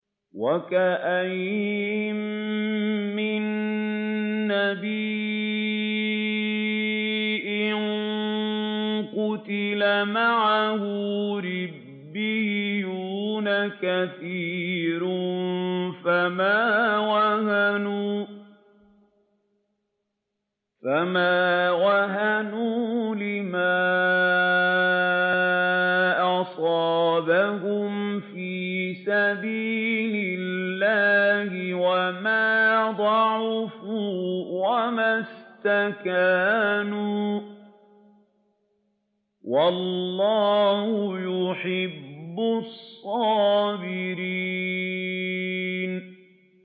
وَكَأَيِّن مِّن نَّبِيٍّ قَاتَلَ مَعَهُ رِبِّيُّونَ كَثِيرٌ فَمَا وَهَنُوا لِمَا أَصَابَهُمْ فِي سَبِيلِ اللَّهِ وَمَا ضَعُفُوا وَمَا اسْتَكَانُوا ۗ وَاللَّهُ يُحِبُّ الصَّابِرِينَ